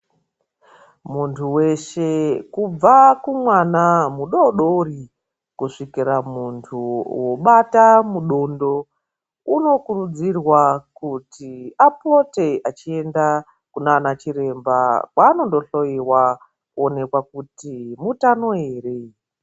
Muntu weshe kubva ku mwana mudodori kusvikuri muntu wobata mu dondo uno kurudzirwa kuti apote achienda kunana chiremba kwaanondo hloyiwa kuonekwa kuti mutano ere.